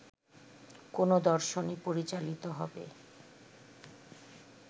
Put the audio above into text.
কোনো দর্শনে পরিচালিত হবে